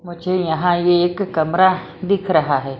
मुझे यहां एक कमरा दिख रहा है।